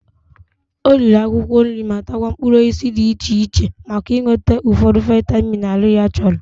O riri akwụkwọ nri ma takwa mkpụrụ osisi dị iche iche maka inweta ụfọdụ vaịmin ahụ ya chọrọ.